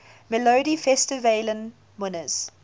melodifestivalen winners